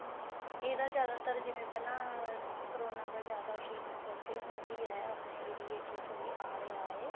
ਇਹਦਾ ਜਿਆਦਾਤਰ ਪਹਿਲਾਂ corona ਦਾ ਜਿਆਦਾ ਵੀ ਮਤਲਬ ਕੇ ਹੁਣ ਵੀ ਹੈ area ਚ ਥੋੜਾ ਆ ਰਿਹਾ ਹੈ